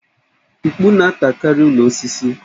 Mkpù na-atakarị ụlọ osisi